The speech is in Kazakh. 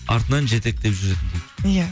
артынан жетектеп жүретін дейді иә